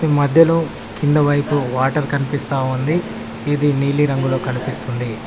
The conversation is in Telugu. మధ్యలో కింద వైపు వాటర్ కనిపిస్తా ఉంది ఇది నీలి రంగులో కనిపిస్తుంది.